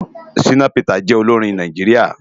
Shina Peters jè óiórin Náijiriá